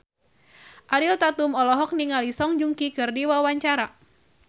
Ariel Tatum olohok ningali Song Joong Ki keur diwawancara